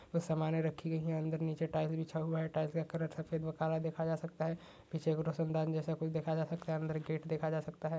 कुछ समाने रखी गई हैं। अंदर नीचे टाइल्स बिछा हुआ है। टाइल्स का कलर सफेद व काला देखा जा सकता है। पीछे एक रोशन दान जैसा कुछ देखा जा सकता है। अंदर गेट देखा जा सकता है।